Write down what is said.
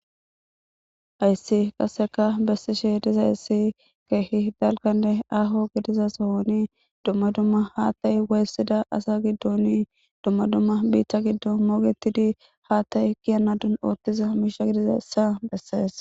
Haysi qaseka besishe dizaysi kehi ahonne dalga gidiza Sohoni duma duma hatay waysida asa gidon duma duma bita gidon mogetid hatay kiyanado othiza misha gidizaysa beses.